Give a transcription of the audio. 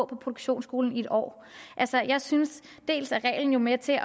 produktionsskolen i en år jeg synes at reglen er med til at